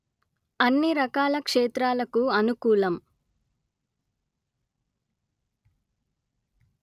అన్ని రకాల క్షేత్రాలకు అనుకూలం